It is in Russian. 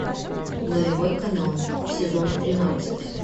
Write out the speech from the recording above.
нулевой канал сезон тринадцать